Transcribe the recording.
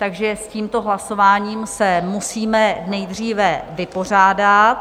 Takže s tímto hlasováním se musíme nejdříve vypořádat.